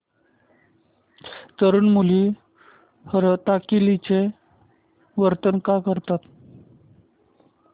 तरुण मुली हरतालिकेचं व्रत का करतात